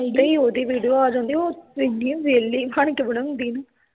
ਏਦਾਂ ਈ ਉਹਦੀ ਵੀਡੀਓ ਆ ਜਾਂਦੀ ਉਹ ਏਨੀ ਵੇਹਲੀ ਬਣ ਕੇ ਬਣਾਉਂਦੀ ਨਾ